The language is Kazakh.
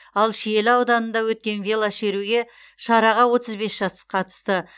ал шиелі ауданында өткен велошеруге шараға отыз бес жас қатысты